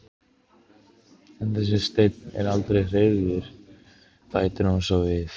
En þessi steinn er aldrei hreyfður, bætir hún svo við.